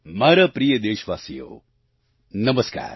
મારા પ્રિય દેશવાસીઓ નમસ્કાર